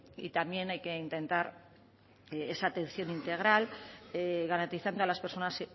también hay que intentar que esa atención integral garantizando a las personas